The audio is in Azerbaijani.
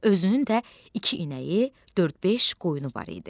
Özünün də iki inəyi, dörd-beş qoyunu var idi.